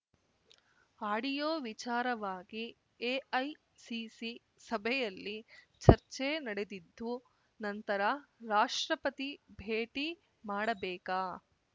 audio ವಿಚಾರವಾಗಿ AICC ಸಭೆಯಲ್ಲಿ ಚರ್ಚೆ ನಡೆದಿದ್ದು ನಂತರ ರಾಷ್ಟ್ರಪತಿ ಭೇಟಿ ಮಾಡಬೇಕಾ